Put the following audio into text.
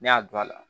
Ne y'a don a la